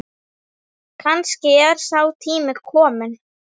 Kannski er sá tími kominn.